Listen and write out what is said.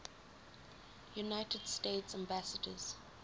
united states ambassadors